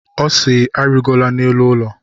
Ọ si, arịgola n'elu ụlọ!